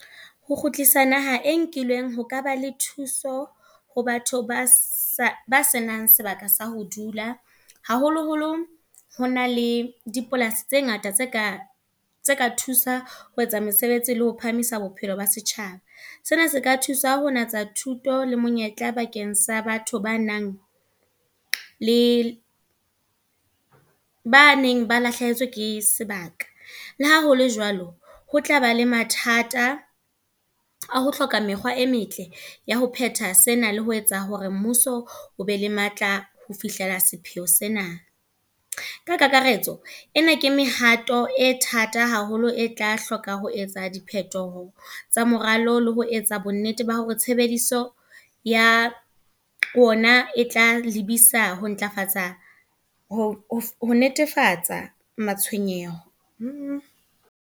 Ho kgutlisa naha e nkilweng, ho ka ba le thuso ho batho ba sa ba senang sebaka sa ho dula. Haholo holo hona le dipolasi tse ngata tse ka tse ka thusa ho etsa mesebetsi le ho phahamisa bophelo ba setjhaba. Sena se ka thusa ho natsa thuto le monyetla bakeng sa batho ba nang le, ba neng ba lahlehetswe ke sebaka. Le ha hole jwalo, ho tlaba le mathata a ho hloka mekgwa e metle ya ho phetha sena, le ho etsa hore mmuso o be le matla ho fihlela sepheo sena. Ka kakaretso, ena ke mehato e thata haholo, e tla hloka ho etsa di phethoho tsa moralo le ho etsa bonnete ba hore tshebediso ya, ona e tla lebisa ho ntlafatsa ho, ho netefatsa matshwenyeho.